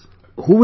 Who will speak